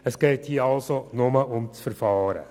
Es geht hier nur um das Verfahren.